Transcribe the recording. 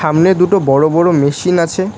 সামনে দুটো বড় বড় মেশিন আছে।